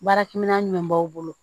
Baarakɛminɛn b'aw bolo